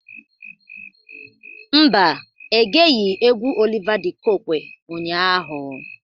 Mba, egeghi egwu Oliva dị Kokwe ụnyaahụ.